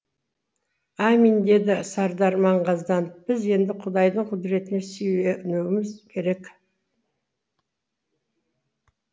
аминь деді сардар маңғазданып біз енді құдайдың құдіретіне сүйенуіміз керек